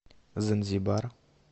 занзибар